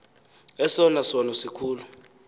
esona sono sikhulu